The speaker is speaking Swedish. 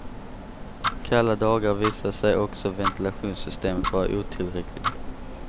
Kalla dagar visade sig också ventilationssystemet vara otillräckligt.